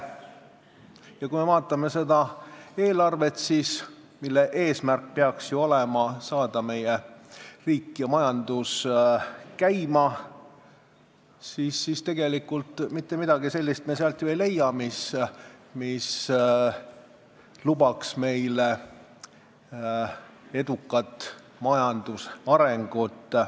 Ja kui me vaatame seda eelarvet, mille eesmärk peaks ju olema meie riik ja majandus käima saada, siis tegelikult ei leia me sealt ju mitte midagi sellist, mis lubaks meile majandusarengut.